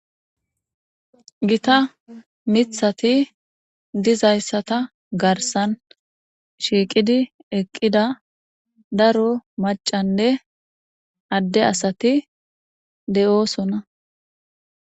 Gita mithati dizayssata garsan shiiqidi eqqida daro macanne adde asati de'oosona.